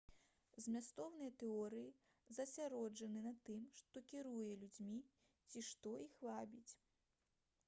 змястоўныя тэорыі засяроджаны на тым што кіруе людзьмі ці што іх вабіць